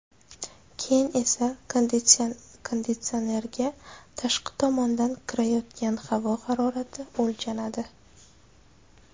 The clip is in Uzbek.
Keyin esa konditsionerga tashqi tomondan kirayotgan havo harorati o‘lchanadi.